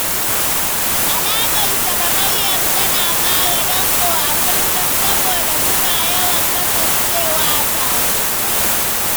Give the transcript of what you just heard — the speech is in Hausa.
Alaƙarsa da Maryam tana ƙara danƙo a kullum, saboda suna yawan kasancewa tare.